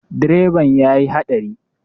Direban ya yi haɗari.